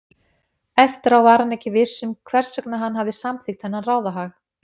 eftir á var hann ekki viss um hvers vegna hann hafði samþykkt þennan ráðahag.